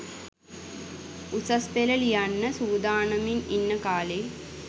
උසස් පෙළ ලියන්න සූදානමින් ඉන්න කා‍ලේ